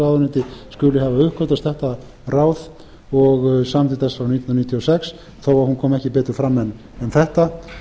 ráðuneyti skuli hafa uppgötvast þetta ráð og samþykkt þess frá nítján hundruð níutíu og sex þó að hún komi ekki betur fram en þetta